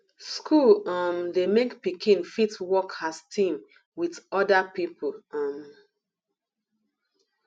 school um dey make pikin fit work as team with oda pipo um